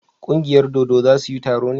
ƙungiyar dodo za su yi taro ne?